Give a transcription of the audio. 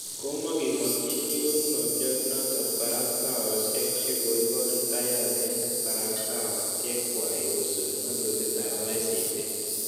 Kogimakchini konunotyat nootok barastaosiek che koiboor ittaiyat eng' kabarastaisiek kwai kosupi ng'atutyet ap ICT.